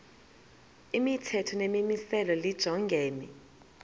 imithetho nemimiselo lijongene